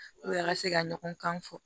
a ka se ka ɲɔgɔn kan fɔ